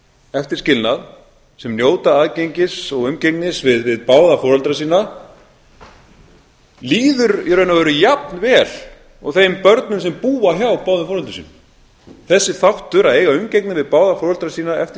eftir skilnað sem njóta aðgengis og umgengni við báða foreldra sína líður í raun og veru jafn vel og þeim börnum sem búa hjá báðum foreldrum sínum þessi þáttur að eiga umgengni við báða foreldra sína eftir